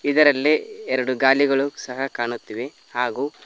ಇದರಲ್ಲಿ ಎರಡು ಗಾಲಿಗಳು ಸಹ ಕಾಣುತ್ತಿವೆ ಹಾಗು--